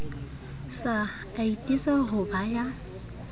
sa atise ho ba ya